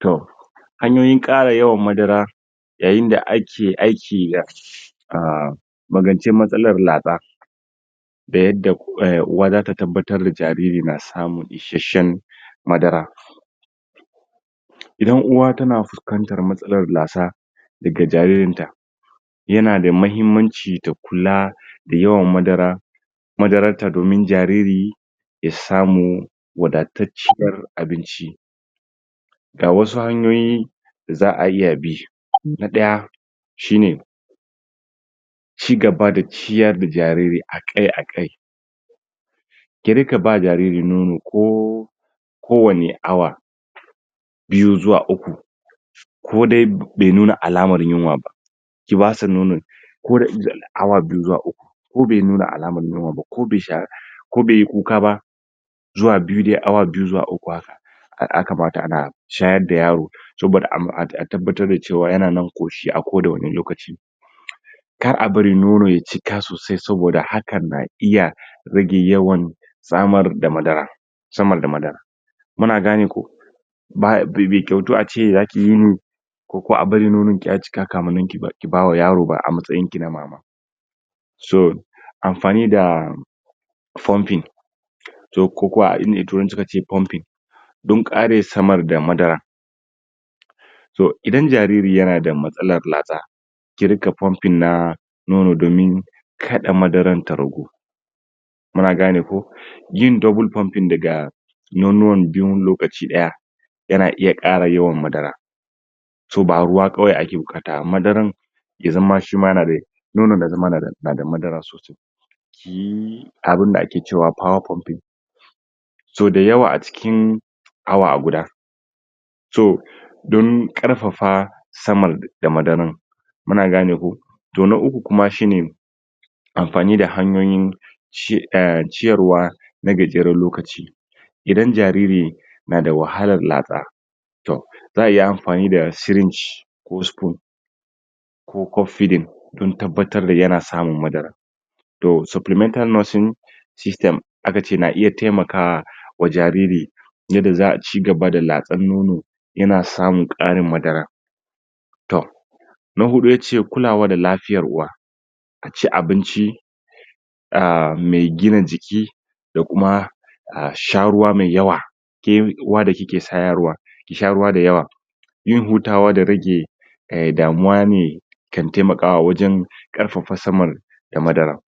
Toh hanyoyin ƙara yawan madara yayin da ake aki dah ah maganci matsalar latsa da yadda uwa zata tabbatar da jariri na samun isasshen madara inda uwa tana fuskantar matsalan lasta daga jaririn ta yana da muhimmanchi da kula da yawan madara madara ta domin jariri ya samu wadata ciyar abinchi ga wasu hanyoyin da za'a iya bi na daya shi ne cigaba da ciyar da jariri akai akai kirinka ba jariri nono kooo ko wani hour biyu zuwa uku ko da bai nuna alamar yunwar ba ta basu nono ko daga awa biyu zuwa uku, ko bai nuna alamar yunwar ba, ko bai sha ko bai kuka ba zuwa biyu de awa biyu zawa uku aka haka yaka mata ana shayar da yaro saboda a tabbatar da cewa yanan koshi a kowanne lokachi ka'a bari nono ye cike sosai sobada haka na iya rage yawan samar da madara samar da madara muna gane ko, bai kyautar ace zaki wuni ko kai bari nono ya cika kamuann ki bawa yaro ba amastyayin ki na mama so amfani da pumping toh ko ko ainda turanchi suka ce pumping dun kare samar da madara toh inda jariri yana da matslar latsa ƙi riƙa pumping na nono domin kaɗa madara ta ragu muna gane ko yin double pumping daga nono biyu lokaci daya yana iya kara yawan madara toh ba ruwa kawai ake bukata ba madara ye zaman shima yanada nono shima ya nana da madara sosai kiyi abinda aka cewar power pumping toh de yawa a'cikin awa guda toh domin karfafa samar da madara muna gane ko toh na uku shi ne amfani da hanyoyin ci ah ciyarwa na gajiran lokachi; inda jariri n ada wahala latsa toh za'a iya amfani da string ko spoon ko cup feeding ka tabbatar yana samun madara toh supplemental nursing system aka ce na iya tamakawa wa jariri ye za ga cigaba da latsa nono yana samu karen madara. toh na hudu yace kulawa da lafia uwa da chin abinchi ah mai gina jiki dakuma da sha ruwa mai yawa ke uwa daike shayar wa ki sha ruwa da yawa yin huta wa de rage a damuwa ne taimaka wa awajen karfafa samar da madara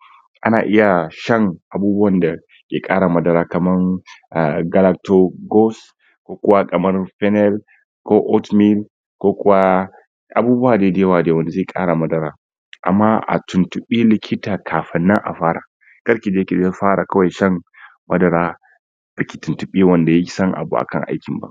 ana iya shan abubuwa da ya kara madara kaman ah ko kuwa kama ko oath meal ko kuwa abubuwa da yawa de za kara madara ama a tuntubi likata kafin nan a fara, kar kija ki fara kwai shan madara baki tuntibi wanda yasan abu akan aikin ba